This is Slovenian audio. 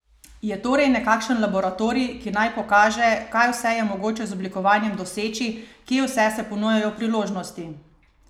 Je torej nekakšen laboratorij, ki naj pokaže, kaj vse je mogoče z oblikovanjem doseči, kje vse se ponujajo priložnosti?